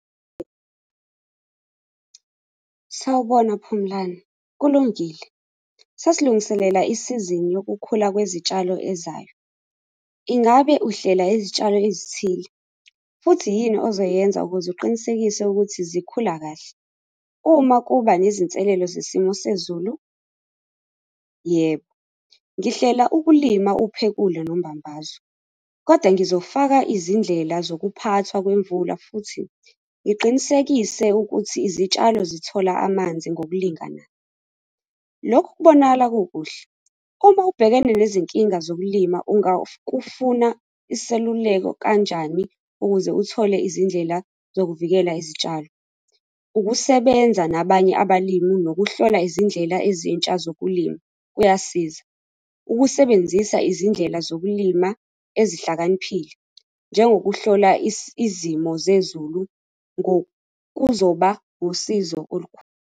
Sawubona Phumlani kulungile, sesilungiselela isizini yokukhula kwezitshalo ezayo. Ingabe uhlela izitshalo ezithile futhi yini ozoyenza ukuze uqinisekise ukuthi zikhula kahle uma kuba nezinselelo zesimo sezulu? Yebo, ngihlela ukulima uphekule nombambaso, kodwa ngizofaka izindlela zokuphathwa kwemvula futhi ngiqinisekise ukuthi izitshalo zithola amanzi ngokulingana. Lokhu kubonakala kukuhle uma ubhekene nezinkinga zokulima, ungafuna iseluleko kanjani ukuze uthole izindlela zokuvikela izitshalo. Ukusebenza nabanye abalimi nokuhlola izindlela ezintsha zokulima kuyasiza ukusebenzisa izindlela zokulima ezihlakaniphile njengokuhlola izimo zezulu kuzoba usizo olukhulu.